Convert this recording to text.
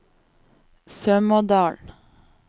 Sømådalen